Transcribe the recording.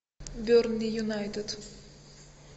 бернли юнайтед